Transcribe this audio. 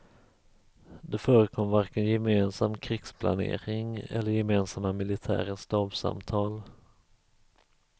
Det förekom varken gemensam krigsplanering eller gemensamma militära stabssamtal.